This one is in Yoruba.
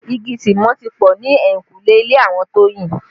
Igi Tìmọ́ ti pọ ni eyinkule ilé àwọn Toyin